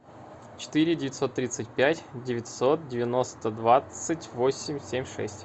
четыре девятьсот тридцать пять девятьсот девяносто двадцать восемь семь шесть